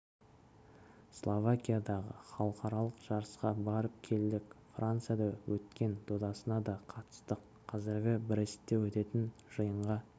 словакиядағы халықаралық жарысқа барып келдік францияда өткен додасына да қатыстық қазір брестте өтетін жиынға